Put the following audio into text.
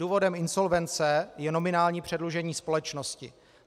Důvodem insolvence je nominální předlužení společnosti.